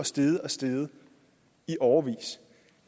steget og steget i årevis